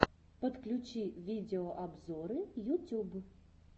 подключи видеообзоры ютюб